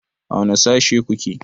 A wane Sashe ku ke?